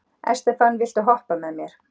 Estefan, viltu hoppa með mér?